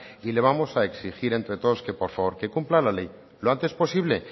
y le vamos a exigir entre todos que por favor que cumpla la ley lo antes posible